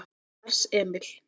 Lars Emil